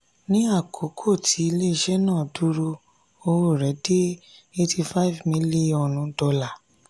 ní àkókò tí ilé-iṣẹ́ náà dá dúró owó rẹ̀ dé eighty-five million dollars